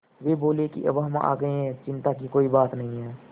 वे बोले कि अब हम आ गए हैं और चिन्ता की कोई बात नहीं है